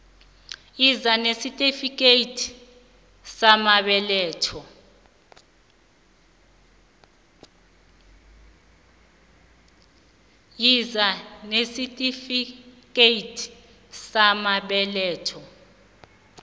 yiza nesitifikethi samabeletho